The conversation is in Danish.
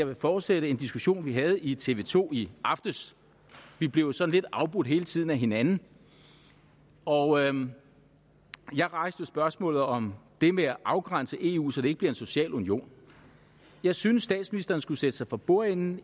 vil fortsætte en diskussion vi havde i tv to i aftes vi blev jo sådan lidt afbrudt hele tiden af hinanden og jeg rejste spørgsmålet om det med at afgrænse eu så det ikke bliver en social union jeg synes statsministeren skulle sætte sig for bordenden